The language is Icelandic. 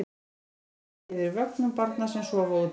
Hafa þétt net yfir vögnum barna sem sofa úti.